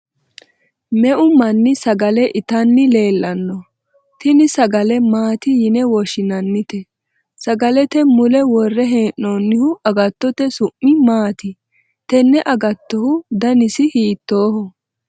meu manni sagale itanni leellanno? tini sagale maati yine woshshinannite? sagalete mule worre hee'noonnihu agattote su'mi maati? tenne agattohu danise hiittooho?